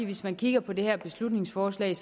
hvis man kigger på det her beslutningsforslag